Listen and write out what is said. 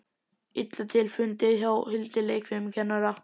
Illa til fundið hjá Hildi leikfimikennara.